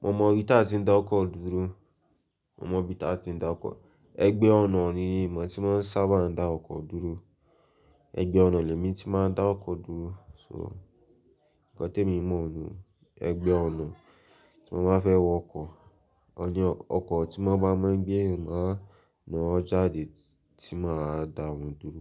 Mo mọ̀ bí ta tí ń dá ọkọ̀ dúró, mo mọ̀ bí ta tí ń dá ọkọ̀. Ẹgbẹ́ ọ̀nà ni mo tí maa n sábà ń dá ọkọ̀ dúró. Ẹgbẹ́ ọ̀nà ni èmi tí máa ń dá ọkọ̀ dúró. "So" nǹkan tí mo mọ̀ nù, ẹgbẹ́ ọ̀nà. Tí mo bá fẹ́ wọ ọkọ̀, o je ọkọ̀ tí mo n bá mọ̀ n gbe èèyàn ńi ọ́ jáde tí máa dà wọ́n dúró.